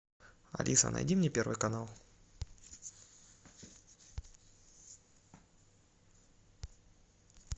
алиса найди мне первый канал